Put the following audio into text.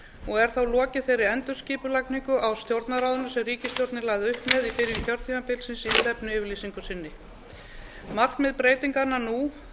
og er þá lokið þeirri endurskipulagningu á stjórnarráðinu sem ríkisstjórnin lagði upp með í byrjun kjörtímabilsins í stefnuyfirlýsingu sinni markmið breytinganna nú